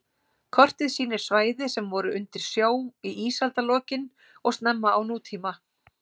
Kortið sýnir svæði sem voru undir sjó í ísaldarlokin og snemma á nútíma.